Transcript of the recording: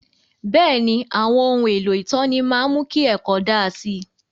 Bẹ́ẹ̀ni, àwọn ohun èlò ìtọ́ni máa ń mú kí ẹ̀kọ́ daa si